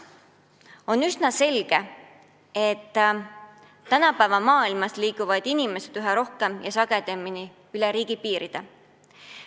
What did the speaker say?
On üsna selge, et tänapäeva maailmas liiguvad inimesed üha rohkem ja sagedamini üle riigipiiride.